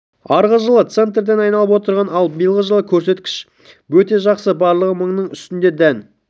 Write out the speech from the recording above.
арғы жылы центнерден айналып отырған ал биылғы жылы көрсеткіш бөте жақсы барлығы мыңның үстінде дән